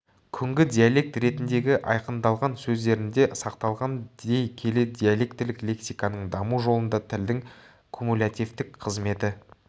күнгі диалект ретіндегі айқындалған сөздерінде сақталған дей келе диалектілік лексиканың даму жолында тілдің кумулятивтік қызметі